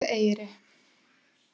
Borðeyri